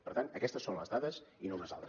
per tant aquestes són les dades i no unes altres